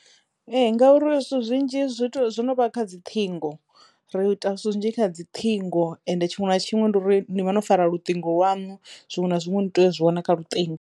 Ee ngauri zwithu zwinzhi zwi to zwo no vha kha dzi ṱhingo ri ita zwithu zwinzhi kha dzi ṱhingo ende tshiṅwe na tshiṅwe ndi uri ni vha no fara luṱingo lwanu zwiṅwe na zwiṅwe ni tea u zwi wana kha luṱingo.